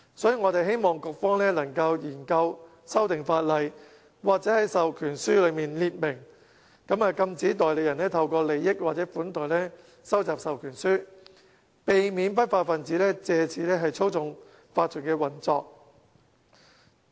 所以，我們希望局方能研究修訂法例，又或在授權書內列明，禁止代理人透過利益或款待收集授權書，避免不法分子借此操縱法團運作。